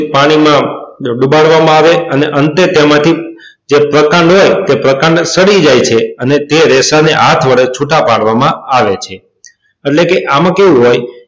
પાણીમાં ડુબાડવામાં આવે. અને અંતે તેમાંથી જે પ્રકાંડ હોય એ પ્રકાંડ સડી જાય છે. અને રેસા ને હાથ વડે છૂટા પાડવામાં આવે છે. એટલે કે આમાં કેવું હોય,